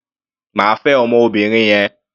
Má fẹ ọmọbìnrin yẹn.